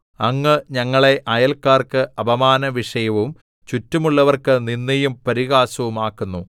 അങ്ങ് ഞങ്ങളെ അയല്ക്കാർക്ക് അപമാനവിഷയവും ചുറ്റുമുള്ളവർക്ക് നിന്ദയും പരിഹാസവും ആക്കുന്നു